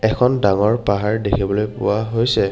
এখন ডাঙৰ পাহাৰ দেখিবলৈ পোৱা হৈছে।